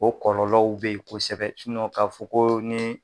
O kɔlɔlɔw bɛ ye kosɛbɛ ka fɔ ko ni